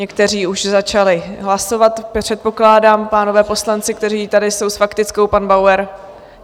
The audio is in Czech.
Někteří už začali hlasovat, předpokládám, pánové poslanci, kteří tady jsou s faktickou, pan Bauer...